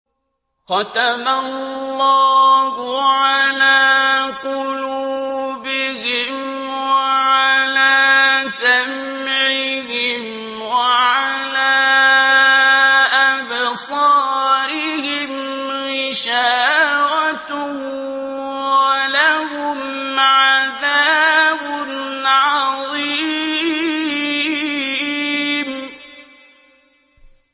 خَتَمَ اللَّهُ عَلَىٰ قُلُوبِهِمْ وَعَلَىٰ سَمْعِهِمْ ۖ وَعَلَىٰ أَبْصَارِهِمْ غِشَاوَةٌ ۖ وَلَهُمْ عَذَابٌ عَظِيمٌ